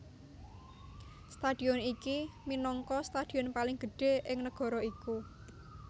Stadion iki minangka stadion paling gedhé ing negara iku